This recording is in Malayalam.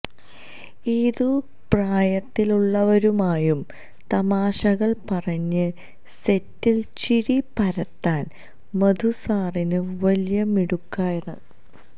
ഏതു പ്രായത്തിലുള്ളവരുമായും തമാശകള് പറഞ്ഞ് സെറ്റില് ചിരി പരത്താന് മധുസാറിന് വലിയ മിടുക്കാണ്